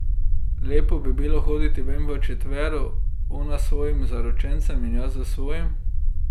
Lepo bi bilo hoditi ven v četvero, ona s svojim zaročencem in jaz s svojim.